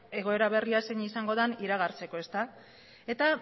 egoera berria zein izango den iragartzeko eta